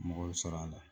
Mɔgɔw sɔrɔ a la